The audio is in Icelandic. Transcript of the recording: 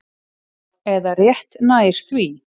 Eða rétt nær því.